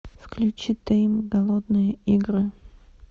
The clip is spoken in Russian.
включи тэйм голодные игры